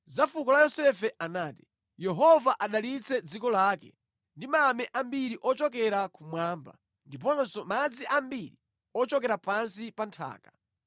Za fuko la Yosefe anati: “Yehova adalitse dziko lake ndi mame ambiri ochokera kumwamba ndiponso madzi ambiri ochokera pansi pa nthaka;